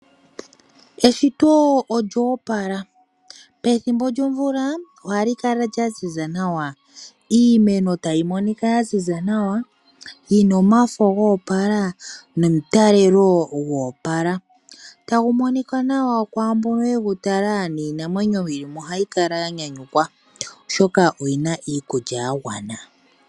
Eshito olyo opala. Pethimbo lyomvula ohali kala lya ziza nawa. Iimeno tayi monika ya ziza nawa, yi na omafo go opala nomutalelo go opala, tagu monika kwaa mboka ye gu tala niinamwenyo yi li mo ohayi kala ya nyanyukwa, oshoka oyi na iikulya ya gwana.